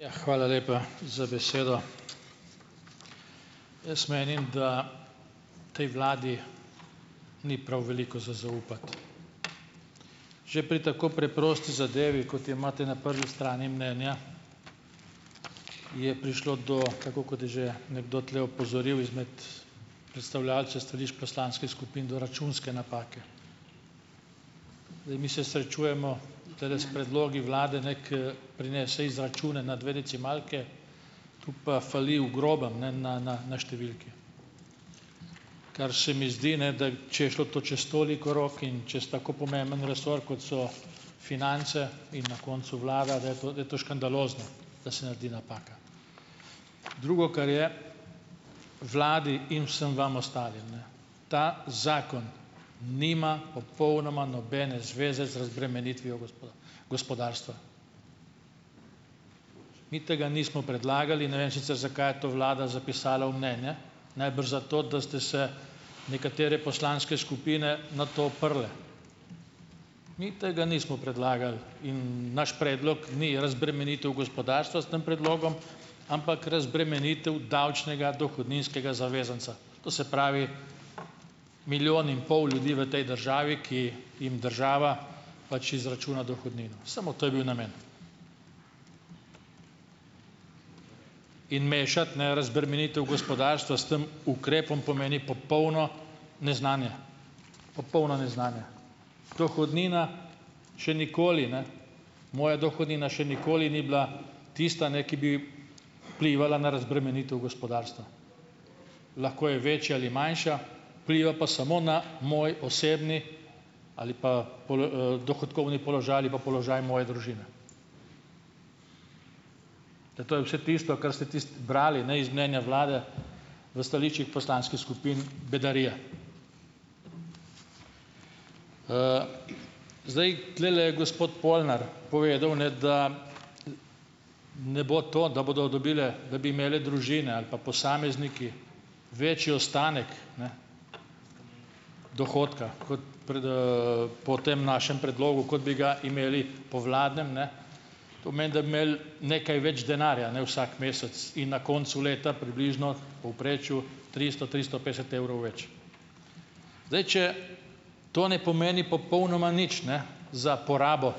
Ja, hvala lepa za besedo. Jaz menim, da tej vladi ni prav veliko za zaupati. Že pri tako preprosti zadevi, kot jo imate na prvi strani mnenja, je prišlo do, tako kot je že nekdo tule opozoril izmed predstavljavcev stališč poslanskih skupin, do računske napake. Zdaj mi se srečujemo tulele s predlogi vlade, ne, ker prinese izračune na dve decimalki, tu pa fali v grobem, ne, na, na, na številke, kar se mi zdi, ne, da če je šlo to čez toliko rok in čez tako pomemben resor, kot so finance, in na koncu vlada, da je to, da to škandalozno, da se naredi napaka. Drugo, kar je. Vladi in vsem vam ostalim, ne, ta zakon nima popolnoma nobene zveze z razbremenitvijo gospodarstva. Mi tega nismo predlagali. Ne vem sicer, zakaj je to vlada zapisala v mnenje. Najbrž zato, da ste se nekatere poslanske skupine na to oprle. Mi tega nismo predlagali in naš predlog ni razbremenitev gospodarstva s tem predlogom, ampak razbremenitev davčnega, dohodninskega zavezanca, to se pravi, milijon in pol ljudi v tej državi, ki jim država pač izračuna dohodnino. Samo to je bil namen. In mešati, ne, razbremenitev gospodarstva s tem ukrepom, pomeni popolno neznanje. Popolno neznanje. Dohodnina še nikoli, ne, moja dohodnina še nikoli ni bila tista, ne, ki bi vplivala na razbremenitev gospodarstva. Lahko je večja ali manjša, vpliva pa samo na moj osebni ali pa dohodkovni položaj ali pa položaj moje družine. To je vse tisto, kar ste tisti, brali, ne, iz mnenja vlade v stališčih poslanskih skupin, bedarija. Zdaj, tulele je gospod Polnar povedal, ne, da ne bo to, da bodo dobile, da bi imeli družine ali pa posamezniki večji ostanek, ne, dohodka kot pred, po tem našem predlogu, kot bi ga imeli po vladnem, ne, to pomeni, da bi imeli nekaj več denarja, ne, vsak mesec in na koncu leta približno v povprečju tristo, tristo petdeset evrov več. Zdaj, če to ne pomeni popolnoma nič, ne za porabo,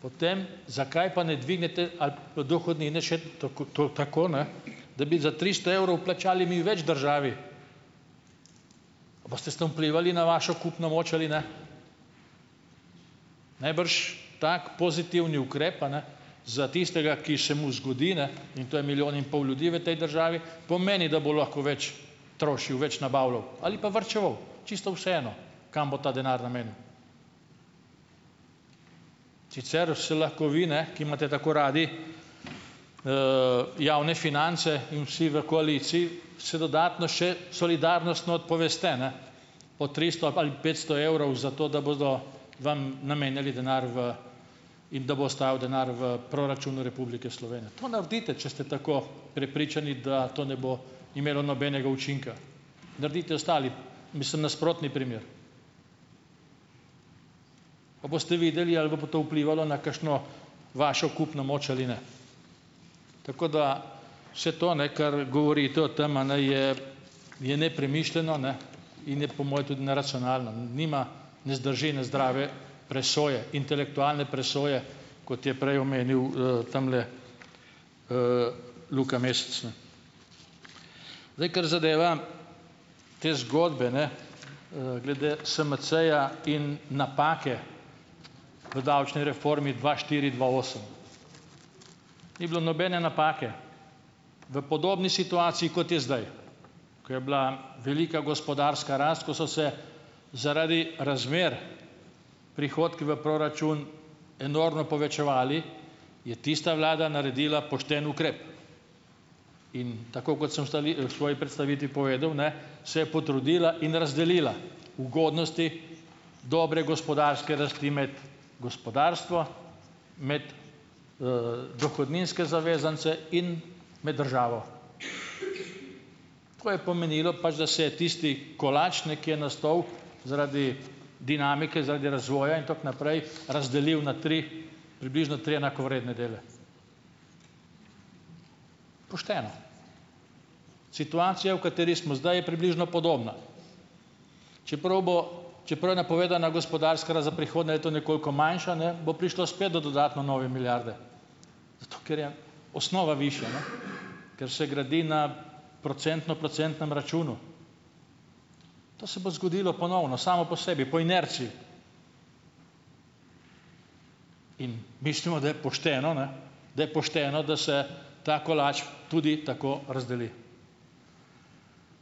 potem zakaj pa ne dvignete ali dohodnine še tako, to, tako, ne, da bi za tristo evrov plačali mi več državi. Boste s tam vplivali na vašo kupno moč ali ne? Najbrž tako pozitivni ukrep, a ne, za tistega, ki se mu zgodi, ne in to je milijon in pol ljudi v tej državi, pomeni, da bo lahko več trošil, več nabavljal ali pa varčeval, čisto vseeno, kam bo ta denar namenu, sicer se lahko vi, ne, ki imate tako radi javne finance, in vsi v koaliciji, se dodatno še solidarnostno odpoveste, ne, po tristo ali pa, ali petsto evrov za to, da bodo vam namenjali denar v, in da bo ostajal denar v proračunu Republike Slovenije. To naredite, če ste tako prepričani, da to ne bo imelo nobenega učinka. Naredite ostali, mislim nasprotni primer, pa boste videli, ali bo pol to vplivalo na kakšno vašo kupno moč ali ne. Tako da, vse to, ne, kar govorite o tam, a ne, je je nepremišljeno, ne, in je po moje tudi neracionalno, nima, ne zdrži ene zdrave presoje, intelektualne presoje, kot je prej omenil tamle, Luka Mesec, ne. Zdaj, kar zadeva te zgodbe, ne glede SMC-ja in napake v davčni reformi dva štiri, dva osem. Ni bilo nobene napake. V podobni situaciji, kot je zdaj, ko je bila velika gospodarska rast, ko so se zaradi razmer prihodki v proračun enormno povečevali, je tista vlada naredila pošten ukrep, in tako kot sem v v svoji predstavitvi povedal, ne, se je potrudila in razdelila ugodnosti dobre gospodarske rasti med gospodarstvo, med dohodninske zavezance in med državo. Tako je pomenilo pač, da se je tisti kolač, ne, ker je nastal, zaradi dinamike zaradi razvoja in tako naprej, razdelil na tri, približno tri enakovredne dele. Pošteno. Situacija, v kateri smo zdaj, je približno podobna. Čeprav bo, čeprav je napovedana gospodarska rast za prihodnje leto nekoliko manjša, ne, bo prišlo spet do dodatno nove milijarde, zato ker je osnova višja, ne, ker se gradi na procentno-procentnem računu. To se bo zgodilo ponovno, samo po sebi, po inerciji. In mislimo, da je pošteno, ne, da je pošteno, da se ta kolač tudi tako razdeli.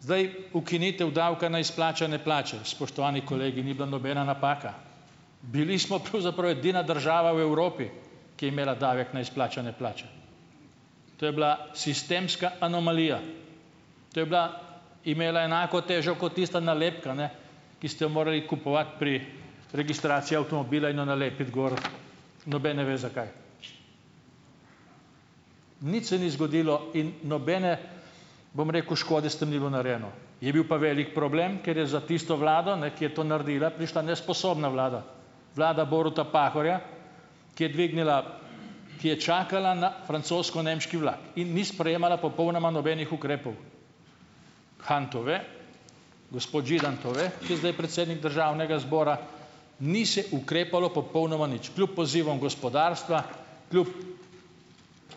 Zdaj, ukinitev davka na izplačane plače, spoštovani kolegi, ni bila nobena napaka. Bili smo pravzaprav edina država v Evropi, ki je imela davek na izplačane plače. To je bila sistemska anomalija, to je bila, imela je enako težo kot tista nalepka, ne, ki ste jo morali kupovati pri registraciji avtomobila in jo nalepiti gor, noben ne ve, zakaj. Nič se ni zgodilo in nobene, bom rekel, škode s tem ni bilo narejeno. Je bil pa velik problem, ker je za tisto vlado, ne, ki je to naredila, prišla nesposobna vlada, vlada Boruta Pahorja, ki je dvignila, ki je čakala na francosko-nemški vlak in ni sprejemala popolnoma nobenih ukrepov. Han to ve, gospod Židan to ve, ki je zdaj predsednik državnega zbora. Ni se ukrepalo popolnoma nič, kljub pozivom gospodarstva, kljub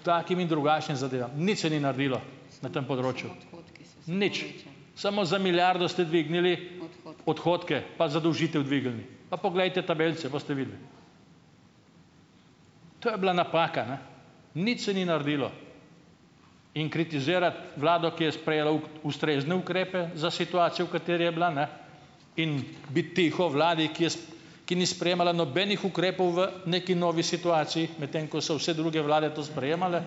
takim in drugačnim zadevam, nič se ni naredilo na tem področju, nič, samo za milijardo ste dvignili odhodke, pa zadolžitev dvignili. Pa poglejte tabelice, boste videli. To je bila napaka, ne. Nič se ni naredilo. In kritizirati vlado, ki je sprejela ustrezne ukrepe za situacijo, v kateri je bila, ne, in biti tiho vladi, ki je ki ni sprejemala nobenih ukrepov v neki novi situaciji, medtem ko so vse druge vlade to sprejemale,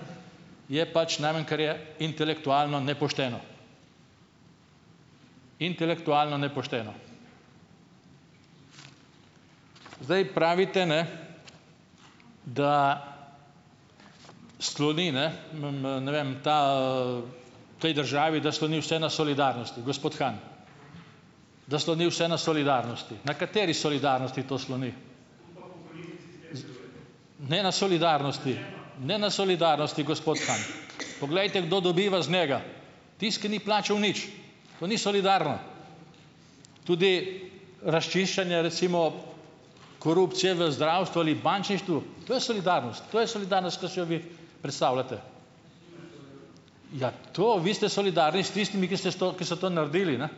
je pač najmanj, kar je intelektualno nepošteno, intelektualno nepošteno. Zdaj pravite, ne, da sloni, ne ne vem, ta, v tej državi, da sloni vse na solidarnosti, gospod Han, da sloni vse na solidarnosti. Na kateri solidarnosti to sloni? Ne na solidarnosti, ne na solidarnosti, gospod Han. Poglejte, kdo dobiva z njega. Tisti, ki ni plačal nič. To ni solidarno. Tudi razčiščenje recimo korupcije v zdravstvu ali bančništvu. To je solidarnost, to je solidarnost, ki si jo vi predstavljate? Ja, to, vi ste solidarni s tistimi, ki ste s to, ki so to naredili, ne?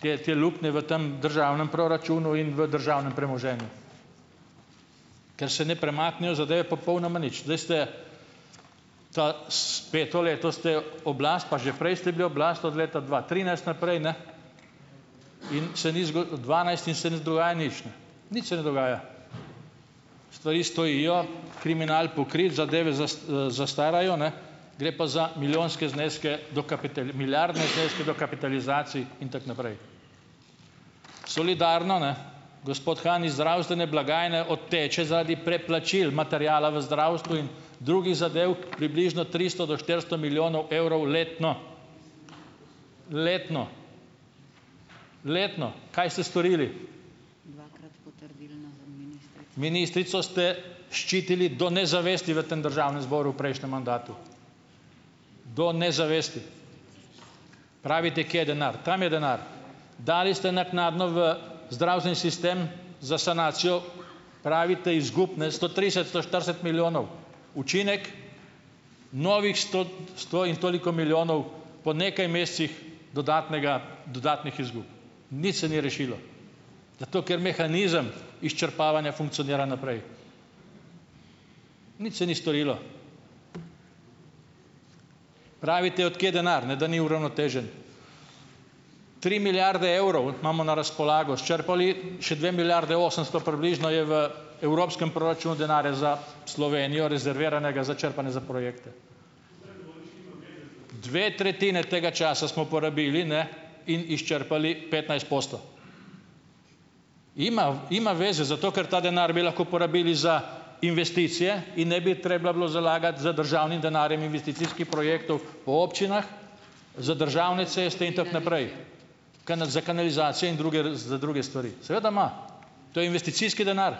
Te, te luknje v tam državnem proračunu in v državnem premoženju, ker se ne premaknejo zadeve popolnoma nič. Zdaj ste, ta s peto leto ste oblast, pa že prej ste bili oblast od leta dva trinajst naprej, ne, in se ni zgo dvanajst, in se ne z dogaja nič, ne, nič se ne dogaja. Stvari stojijo, kriminal pokrit, zadeve zastarajo, ne, gre pa za milijonske zneske, milijardne zneske dokapitalizacij in tako naprej. Solidarno, ne? Gospod Han, iz zdravstvene blagajne odteče zaradi preplačil materiala v zdravstvu in drugih zadev približno tristo do štiristo milijonov evrov letno, letno, letno. Kaj ste storili? Ministrico ste ščitili do nezavesti v tem državnem zboru v prejšnjem mandatu, do nezavesti. Pravite, kje je denar. Tam je denar. Dali ste naknadno v zdravstveni sistem za sanacijo, pravite, izgub, ne, sto trideset, sto štirideset milijonov. Učinek? Novih sto sto in toliko milijonov po nekaj mesecih dodatnega dodatnih izgub. Nič se ni rešilo, zato ker mehanizem izčrpavanja funkcionira naprej. Nič se ni storilo. Pravite, od kje denar, ne, da ni uravnotežen. Tri milijarde evrov imamo na razpolago. Izčrpali ... Še dve milijarde osemsto približno je v evropskem proračunu denarja za Slovenijo, rezerviranega za črpanje za projekte. Dve tretjini tega časa smo porabili, ne, in izčrpali petnajst posto. Ima, ima veze, zato ker ta denar bi lahko porabili za investicije in ne bi treba bilo zalagati z državnim denarjem investicijskih projektov po občinah, za državne ceste in tako naprej, konja, za kanalizacije in za druge za druge stvari. Seveda ima, to je investicijski denar.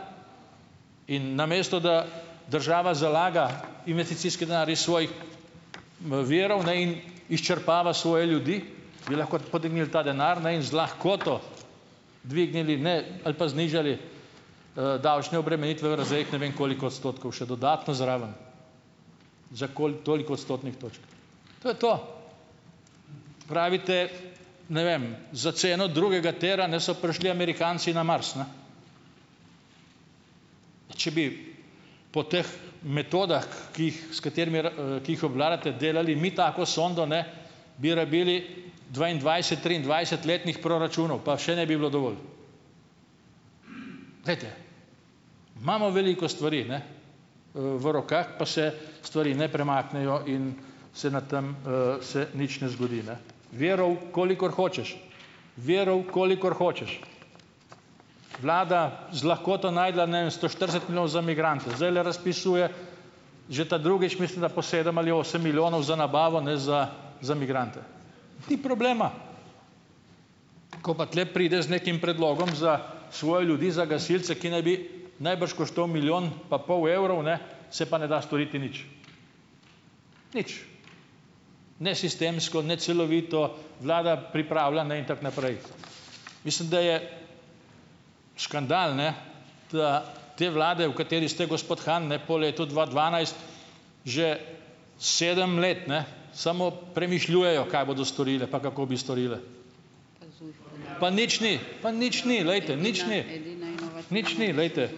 In namesto da država zalaga investicijski denar iz svojih virov in izčrpava svoje ljudi, bi lahko podenil ta denar, ne, in z lahkoto dvignili, ne, ali pa znižali davčne obremenitve v razredih ne vem koliko odstotkov še dodatno zraven, za koli, toliko odstotnih točk. To je to. Pravite, ne vem, za ceno drugega tira, ne, so prišli Amerikanci na Mars, ne. Če bi po teh metodah, ki, ki jih, s katerimi r ki jih obvladate, delali mi tako sondo, ne, bi rabili dvaindvajset, triindvajset letnih proračunov, pa še ne bi bilo dovolj. Glejte, imamo veliko stvari, ne, v rokah, pa se stvari ne premaknejo in se na tam se nič ne zgodi, ne. Virov, kolikor hočeš. Virov, kolikor hočeš. Vlada z lahkoto našla, ne vem, sto štirideset milijonov za migrante. Zdajle razpisuje že ta drugič mislim, da po sedem ali osem milijonov za nabavo, ne, za za migrante. Ni problema. Ko pa tule prideš z nekim predlogom za svoje ljudi, za gasilce, ki naj bi najbrž koštal milijon pa pol, evrov, ne, se pa ne da storiti nič. Nič. Ne sistemsko ne celovito, vlada pripravila, ne, in tako naprej. Mislim, da je škandal, ne, da te vlade v kateri ste, gospod Han, ne, po letu dva dvanajst že sedem let, ne, samo premišljujejo, kaj bodo storile pa kako bi storile. Pa nič ni, pa nič ni, glejte, nič ni. nič ni, glejte,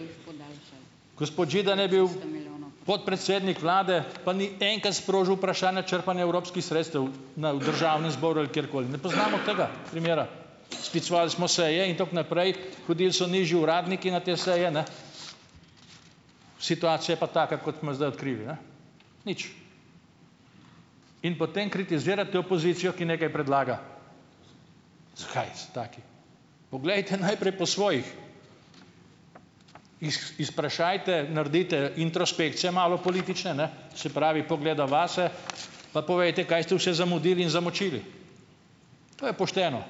Gospod Židan je bil podpredsednik vlade, pa ni enkrat sprožil vprašanja črpanja evropskih sredstev na v državni zbor ali kjerkoli. Ne poznamo tega primera. Sklicevali smo seje, in tako naprej, hodili so nižji uradniki na te seje, ne, situacija pa taka, kot smo zdaj odkrili, ne. Nič. In potem kritizirate opozicijo, ki nekaj predlaga. Zakaj so taki? Poglejte najprej po svojih, izprašajte, naredite introspekcije malo politične, ne, se pravi, pogleda vase, pa povejte, kaj ste vse zamudili in zamočili. To je pošteno.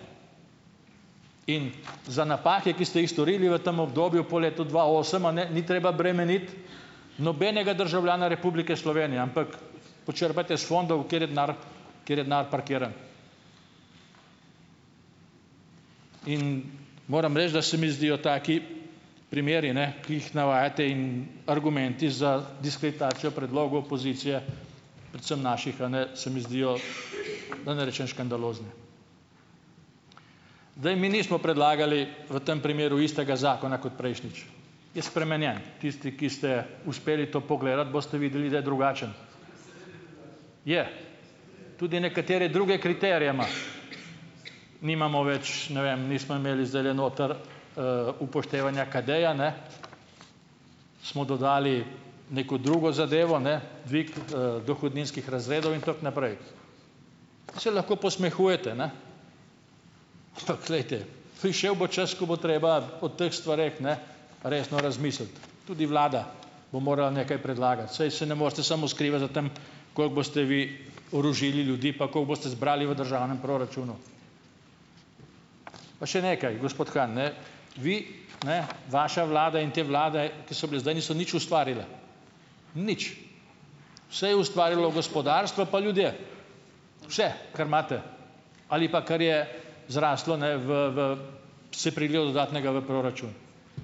In za napake, ki ste jih storili v tem obdobju po letu dva osem, a ne, ni treba bremeniti nobenega državljana Republike Slovenije, ampak počrpajte iz fondov, kjer je denar kjer je denar parkiran. In moram reči, da se mi zdijo taki primeri, ne, ki jih navajate in argumenti za diskreditacijo predlogov opozicije predvsem naših, a ne, se mi zdijo, da ne rečem škandalozni. Zdaj mi nismo predlagali v tam primeru istega zakona kot prejšnjič, je spremenjen. Tisti, ki ste uspeli to pogledati, boste videli, da je drugačen. Je. Tudi nekatere druge kriterije ima. Nimamo več, ne vem, nismo imeli zdajle notri upoštevanja KADEJA, ne, smo dodali neko drugo zadevo, ne, dvig, dohodninskih razredov, in tako naprej. Se lahko posmehujete, ne, ampak glejte, prišel bo čas, ko bo treba o teh stvareh, ne, resno razmisliti, tudi vlada bo morala nekaj predlagati, saj se ne morete samo skrivati za tam, koliko boste vi orožili ljudi pa kako boste zbrali v državnem proračunu. Pa še nekaj, gospod Han, ne, vi, ne, vaša vlada in te vlade, ki so bile zdaj, niso nič ustvarile. Nič. Vse je ustvarilo gospodarstvo pa ljudje. Vse, kar imate ali pa kar je zrastlo, ne, v, v se prililo dodatnega v proračun.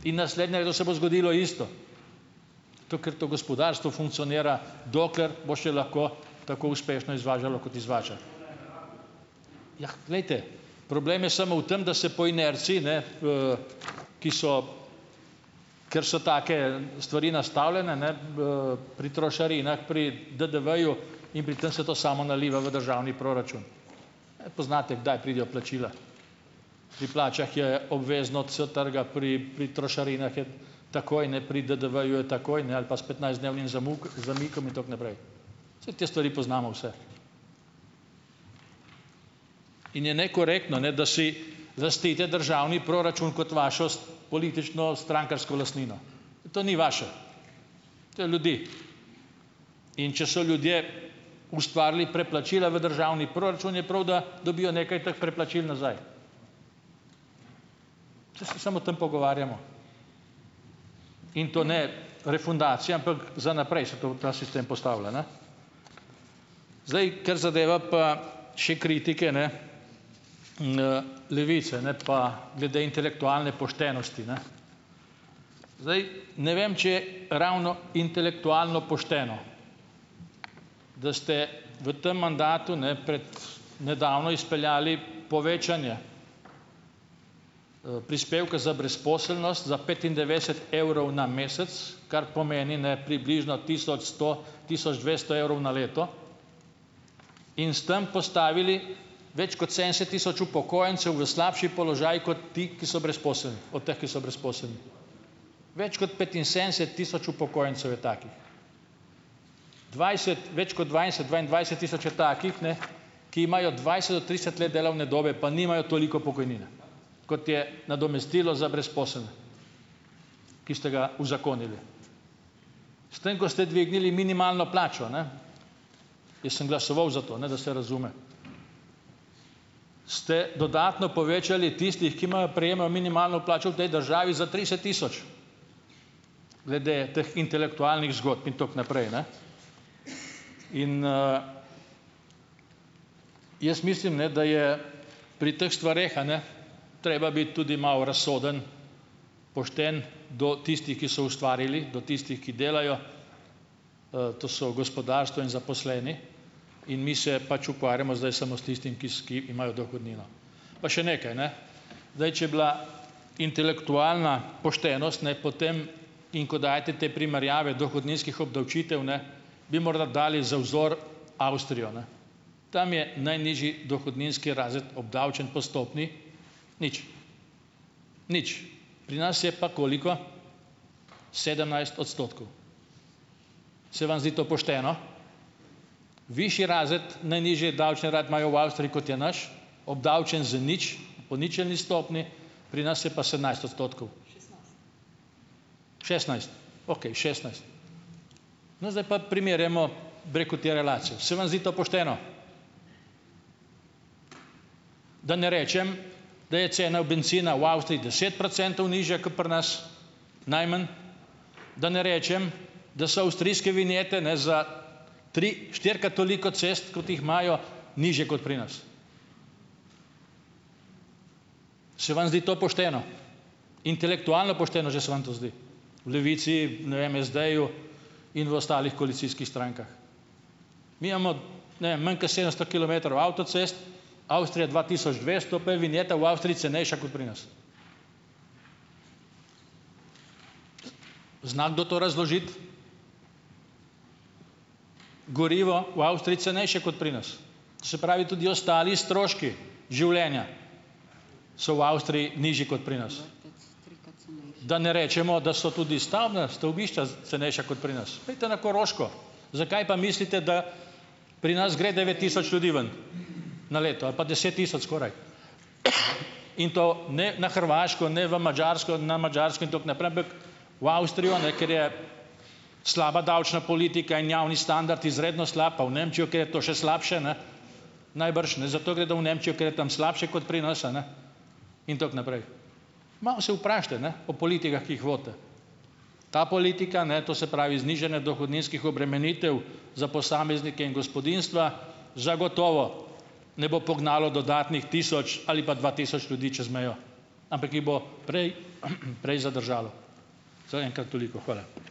In naslednje leto se bo zgodilo isto. To, ker to gospodarstvo funkcionira, dokler bo še lahko tako uspešno izvažalo, kot izvaža. Jah, glejte, problem je samo v tem, da se po inerciji, ne, ki so, ker so take stvari nastavljene, ne, pri trošarinah, pri DDV-ju in pri tem se to samo naliva v državni proračun. E, poznate, kdaj pridejo plačila. Pri plačah je obvezno trga, pri, pri trošarinah je takoj, ne, pri DDV-ju je takoj, ne, ali pa s petnajstdnevnim zamik, zamikom in tako naprej. Saj te stvari poznamo vse. In je nekorektno, ne, da si lastite državni proračun kot vašo politično strankarsko lastnino. To ni vaše. To je ljudi. In če so ljudje ustvarili preplačila v državni proračun, je prav, da dobijo nekaj teh preplačil nazaj. Saj se samo o tem pogovarjamo in to ne refundacija, ampak za naprej se to, ta sistem postavlja, ne. Zdaj, kar zadeva pa še kritike, ne, Levice, ne, pa glede intelektualne poštenosti, ne. Zdaj, ne vem, če je ravno intelektualno pošteno. Da ste v tem mandatu, ne, pred nedavno izpeljali povečanje prispevka za brezposelnost za petindevetdeset evrov na mesec. Kar pomeni, ne, približno tisoč sto, tisoč dvesto evrov na leto. In s tem postavili več kot sedemdeset tisoč upokojencev v slabši položaj kot ti, ki so brezposelni, od teh, ki so brezposelni. Več kot petinsedemdeset tisoč upokojencev je takih. Dvajset, več kot dvajset, dvaindvajset tisoč je takih, ne, ki imajo dvajset do trideset let delovne dobe, pa nimajo toliko pokojnine. Kot je nadomestilo za brezposelne. Ki ste ga uzakonili. S tem, ko ste dvignili minimalno plačo, ne, jaz sem glasoval za to, ne, da se razume, ste dodatno povečali tistih, ki imajo, prejemajo minimalno plačo v tej državi za trideset tisoč. Glede teh intelektualnih zgodb in tako naprej, ne. In jaz mislim, ne, da je pri teh stvareh, a ne, treba biti tudi malo razsoden, pošten do tistih, ki so ustvarili, do tistih, ki delajo to so gospodarstvo in zaposleni, in mi se pač ukvarjamo zdaj samo s tistim, ki s, ki imajo dohodnino. Pa še nekaj, ne. Zdaj, če bila intelektualna poštenost, ne, potem, in ko dajete te primerjave dohodninskih obdavčitev, ne, bi morda dali za vzor Avstrijo, ne. Tam je najnižji dohodninski razred obdavčen po stopnji nič nič. Pri nas je pa koliko? sedemnajst odstotkov. Se vam zdi to pošteno? Višji razred, najnižji davčni uradno imajo v Avstriji, kot je naš, obdavčen z nič. Po ničelni stopnji. Pri nas je pa sedemnajst odstotkov. šestnajst okej, šestnajst No zdaj, pa primerjajmo, bi rekel, te relacije. Se vam zdi to pošteno? Da ne rečem, da je cena bencina v Avstriji deset procentov nižja kot pri nas, najmanj. Da ne rečem, da so avstrijske vinjete, ne, za tri-, štirikrat toliko cest, kot jih imajo, nižje kot pri nas. Se vam zdi to pošteno? Intelektualno pošteno, že se vam to zdi? V Levici, ne vem, SD-ju in v ostalih koalicijskih strankah. Mi amo, ne vem, manj kot sedemsto kilometrov avtocest, Avstrija dva tisoč dvesto, pa je vinjeta v Avstriji cenejša kot pri nas. Zna kdo to razložiti? Gorivo v Avstriji cenejše kot pri nas. Se pravi, tudi ostali stroški življenja so v Avstriji nižji kot pri nas. Da ne rečemo, da so tudi stavbna stavbišča cenejša kot pri nas. Pojdite na Koroško. Zakaj pa, mislite, da pri nas gre devet tisoč ljudi ven? Na leto. Ali pa deset tisoč skoraj. In to ne na Hrvaško, ne v Madžarsko, na Madžarsko in tako naprej, ampak v Avstrijo, ne. Ker je slaba davčna politika in javni standard izredno slab, pa v Nemčijo, kjer je to še slabše, ne. Najbrž, ne. Zato gredo v Nemčijo, ker je tam slabše, kot pri nas, a ne? In tako naprej. Malo se vprašajte, ne, o politikah, ki jih vodite. Ta politika, ne, to se pravi, znižane dohodninskih obremenitev za posameznike in gospodinjstva, zagotovo ne bo pognalo dodatnih tisoč ali pa dva tisoč ljudi čez mejo. Ampak jih bo prej prej zadržalo. Zaenkrat toliko. Hvala.